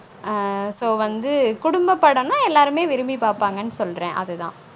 on so வந்து குடும்பபடம் தான் எல்லாருமே விரும்பி பாப்பாங்கனு சொல்றேன் அது தான்